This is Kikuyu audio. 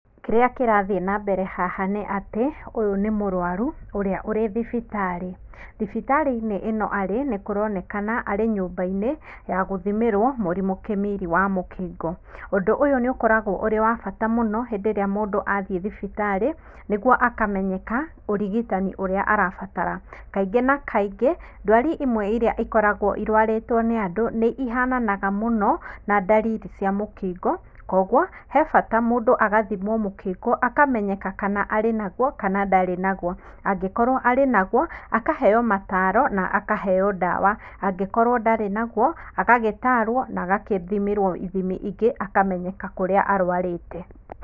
Kĩrĩa kĩrathiĩ na mbere haha nĩ atĩ, ũyũ nĩ mũrwaru ũrĩa ũrĩ thibitarĩ. Thibitarĩ-inĩ ĩno arĩ, nĩkũronekana arĩ nyũmba-inĩ ya gũthimĩrwo mũrimũ kĩmiri wa mũkingo. ũndũ ũyũ nĩ ũkoragwo ũrĩ wa bata mũno hĩndĩ ĩrĩa mũndũ athiĩ thibitarĩ nĩguo akamenyeka ũrigitani ũrĩa arabatara. Kaingĩ na kaingĩ, ndwari imwe iria ikoragwo irwarĩtwo nĩ andũ nĩ ihananaga mũno na ndariri cia mũkingo, koguo he bata mũndũ agathimwo mũkingo, akamenyeka kana arĩ naguo kana ndarĩ naguo. Angĩkorwo arĩ naguo, akaheo mataaro na akaheo ndawa. Angĩkorwo ndarĩ naguo agagĩtaarwo na agathimĩrwo ithimi ingĩ, akamenyeka kũrĩa arwarĩte.